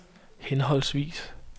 henholdsvis